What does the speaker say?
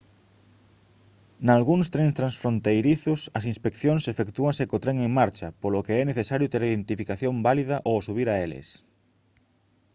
nalgúns trens transfronteirizos as inspeccións efectúanse co tren en marcha polo que é necesario ter identificación válida ao subir a eles